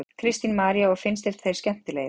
Kristín María: Og finnst þér þeir skemmtilegir?